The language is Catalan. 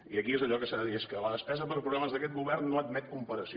i aquí és allò que s’ha de dir és que la despesa per programes d’aquest govern no admet comparació